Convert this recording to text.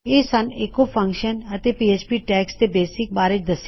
ਇਹ ਸਨ echo function ਅਤੇ ਪੀਐਚਪੀ ਟੈਗਸ ਦੇ ਬੇਸਿਕਸ